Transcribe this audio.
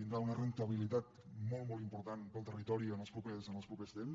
tindrà una rendibilitat molt molt important per al territori en els propers temps